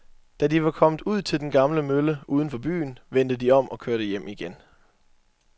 Da de var kommet ud til den gamle mølle uden for byen, vendte de om og kørte hjem igen.